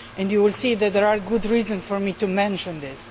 You will see that there are good reasons for me to mention this.